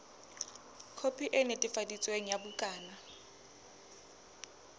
khopi e netefaditsweng ya bukana